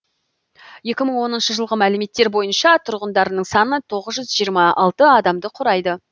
екі мың оныншы жылғы мәліметтер бойынша тұрғындарының саны тоғыз жүз жиырма алты адамды құрайды